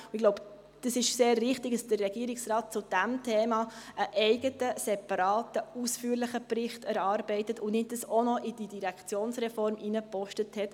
Ich glaube, es ist sehr richtig, dass der Regierungsrat zu diesem Thema einen eigenen, separaten, ausführlichen Bericht erarbeitet und dies nicht auch noch in die Direktionsreform hineingepackt hat.